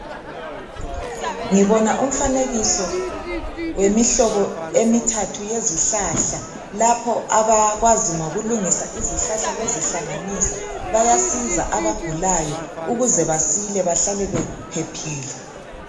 Ngibona umfanekiso wemihlobo emithathu yezihlahla lapho abakwazi ngokulungisa izihlahla bezihlanganisa bayasiza abagulayo ukuze basile bahlale bephephile.